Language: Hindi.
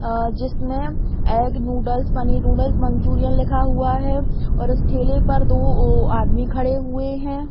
अ जिसमें egg noodles paneer noodles manchurian लिखा हुआ है और उस ठेले पर दो ओ आदमी खड़े हुए है।